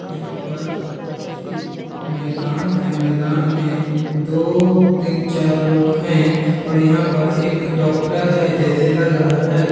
यहाँ पर एक मैदान है मैदान मे दो तीन चार लोग है और यहाँ पर एक डॉक्टर है जैसे लग रहा हैं।